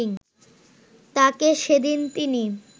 তাঁকে সেদিন তিনি